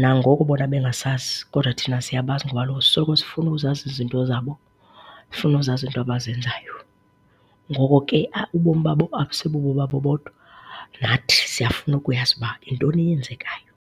nangoko bona bengasazi kodwa thina siyabazi ngoba kaloku sisoloko sifuna uzazi izinto zabo, funa uzazi iinto abazenzayo. Ngoko ke ubomi babo akusibobomi babo bodwa, nathi siyafuna ukuyazi uba yintoni eyenzekayo.